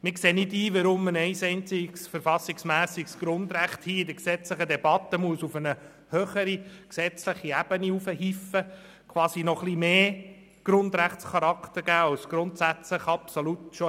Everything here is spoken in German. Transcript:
Wir sehen nicht ein, weshalb man ein einziges verfassungsmässiges Grundrecht in dieser gesetzlichen Debatte auf eine höhere gesetzliche Ebene hieven sollte und ihm quasi noch mehr Grundrechtscharakter geben sollte, als es grundsätzlich bereits hat.